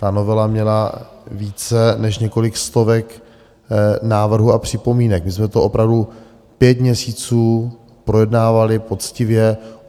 Ta novela měla více než několik stovek návrhů a připomínek, my jsme to opravdu pět měsíců projednávali poctivě.